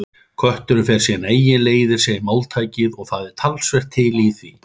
Kötturinn fer sínar eigin leiðir, segir máltækið, og það er talsvert til í því.